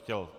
Chtěl.